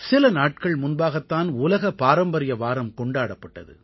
சில நாட்கள் முன்பாகத்தான் உலக பாரம்பரிய வாரம் கொண்டாடப்பட்டது